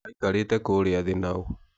Aikarĩte kũrĩa thĩ naũ.